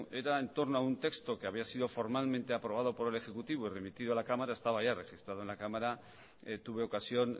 era en torno a un texto que había sido formalmente aprobado por el ejecutivo y remitido a la cámara estaba ya registrado en la cámara tuve ocasión